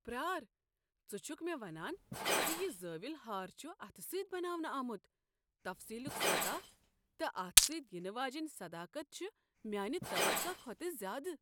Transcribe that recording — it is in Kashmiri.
پرار، ژٕ چھکھٕ مےٚ ونان ز یہ زٲویُل ہار چھ اتھٕ سۭتۍ بناونہٕ آمت؟ تفصیلُک سطح تہٕ اتھ سۭتۍ ینہٕ واجیٚنۍ صداقت چھ میانہ توقع کھوتہٕ زیادٕ۔